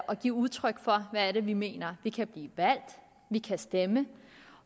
og give udtryk for hvad vi mener vi kan blive valgt vi kan stemme